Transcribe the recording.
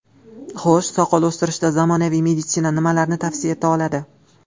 Xo‘sh, soqol o‘stirishda zamonaviy meditsina nimalarni tavsiya eta oladi?